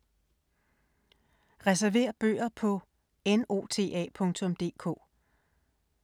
Reserver bøger på nota.dk